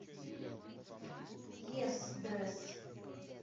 ес дрэсс